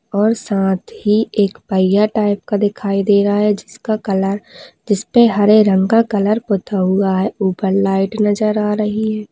और साथ ही एक पहिया टाइप का दिखाई दे रहा है जिसका कलर जिसपे हरे रंग कलर का पोता हुआ है उपर लाइट नजर आ रही है।